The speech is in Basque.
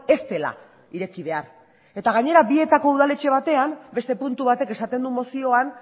ez dela ireki behar eta gainera bietako udaletxe batean beste puntu batek esaten du mozioan